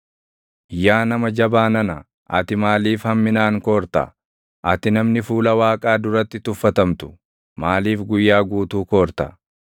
Yaa nama jabaa nana, ati maaliif hamminaan koorta? Ati namni fuula Waaqaa duratti tuffatamtu, maaliif guyyaa guutuu koorta?